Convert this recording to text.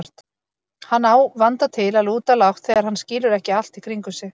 Hann á vanda til að lúta lágt þegar hann skilur ekki allt í kringum sig.